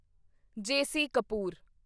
JC. Kapoor